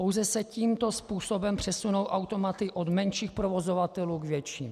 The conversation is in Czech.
Pouze se tímto způsobem přesunou automaty od menších provozovatelů k větším.